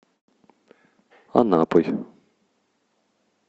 анапой